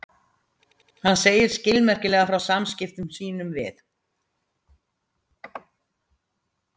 Hann segir skilmerkilega frá samskiptum sínum við